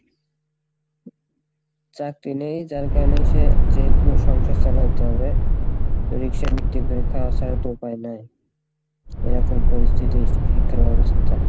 চাকরি নেই যার কারণে সে যেহেতু সংসার চালাইতে হবে তো রিক্সা খাওয়া ছাড়া তো উপায় নাই, এরকম পরিস্থিতি শিক্ষা ব্যবস্থার।